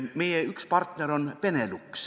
Üks meie partner on Benelux.